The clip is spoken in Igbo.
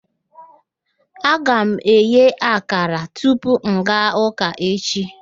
Aga m eghe akara tupu m gaa ụka echi